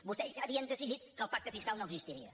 vostès ja havien decidit que el pacte fiscal no existiria